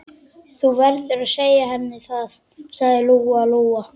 Þú verður að segja henni það, sagði Lóa-Lóa.